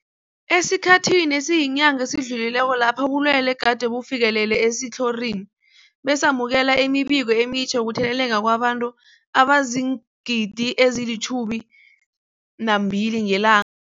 Esikhathini esiyinyanga esidlulileko lapho ubulwele gade bufikelele esitlhorini, besamukela imibiko emitjha yokutheleleka kwabantu abazii-12 000 ngelan